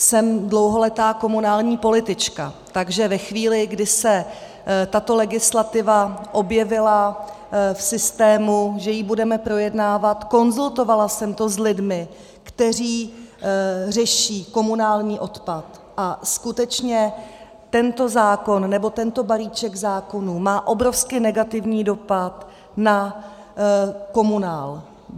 Jsem dlouholetá komunální politička, takže ve chvíli, kdy se tato legislativa objevila v systému, že ji budeme projednávat, konzultovala jsem to s lidmi, kteří řeší komunální odpad, a skutečně, tento zákon, nebo tento balíček zákonů má obrovsky negativní dopad na komunál.